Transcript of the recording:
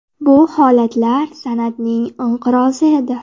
Bu holatlar san’atning inqirozi edi.